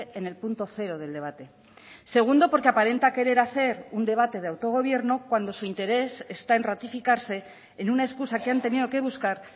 en el punto cero del debate segundo porque aparenta querer hacer un debate de autogobierno cuando su interés está en ratificarse en una excusa que han tenido que buscar